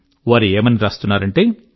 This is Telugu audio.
వారు ఏమని వ్రాస్తున్నారంటే